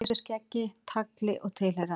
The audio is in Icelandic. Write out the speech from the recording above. Með yfirskeggi, tagli og tilheyrandi.